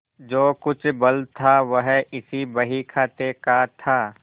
जो कुछ बल था वह इसी बहीखाते का था